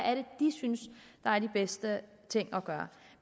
de synes er de bedste ting at gøre